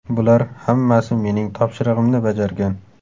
Bular hammasi mening topshirig‘imni bajargan.